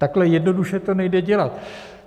Takhle jednoduše to nejde dělat.